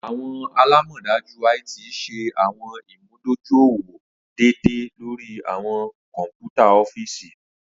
Awọn alamọdaju IT ṣe awọn imudojuiwọn deede lori awọn kọ̀npútà ọfiisi.